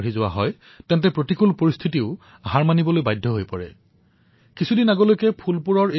ইয়াৰ জৰিয়তে তেওঁলোকে নিজৰ ভৰিৰ সমস্যাৰ কাঁইট আঁতৰোৱাত সফল হোৱাই নহয় বৰঞ্চ আত্মনিৰ্ভৰশীলতাৰ সৈতে নিজৰ পৰিয়ালৰ সম্বলো হৈ পৰিল